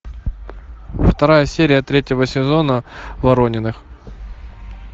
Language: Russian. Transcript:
вторая серия третьего сезона ворониных